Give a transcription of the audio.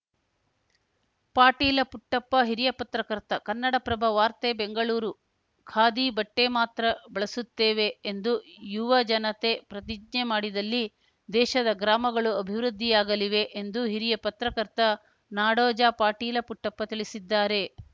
ಪಾಟೀಲ ಪುಟ್ಟಪ್ಪ ಹಿರಿಯ ಪತ್ರಕರ್ತ ಕನ್ನಡಪ್ರಭ ವಾರ್ತೆ ಬೆಂಗಳೂರು ಖಾದಿ ಬಟ್ಟೆಮಾತ್ರ ಬಳಸುತ್ತೇವೆ ಎಂದು ಯುವ ಜನತೆ ಪ್ರತಿಜ್ಞೆ ಮಾಡಿದಲ್ಲಿ ದೇಶದ ಗ್ರಾಮಗಳು ಅಭಿವೃದ್ಧಿಯಾಗಲಿವೆ ಎಂದು ಹಿರಿಯ ಪತ್ರಕರ್ತ ನಾಡೋಜ ಪಾಟೀಲ ಪುಟ್ಟಪ್ಪ ತಿಳಿಸಿದ್ದಾರೆ